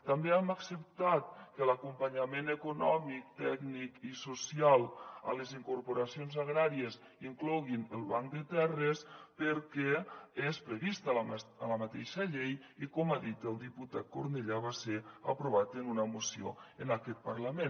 també hem acceptat que l’acompanyament econòmic tècnic i social a les incorporacions agràries inclogui el banc de terres perquè és previst a la mateixa llei i com ha dit el diputat cornellà va ser aprovat en una moció en aquest parlament